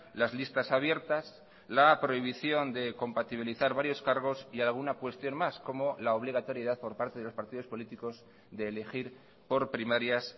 las listas abiertas la prohibición de compatibilizar varios cargos y alguna cuestión más como la obligatoriedad por parte de los partidos políticos de elegir por primarias